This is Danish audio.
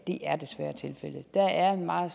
der er en meget